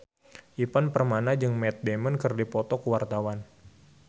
Ivan Permana jeung Matt Damon keur dipoto ku wartawan